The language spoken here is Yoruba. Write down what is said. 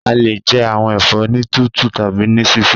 A le jẹ awọn ẹfọ ni titu tabi ni sisẹ.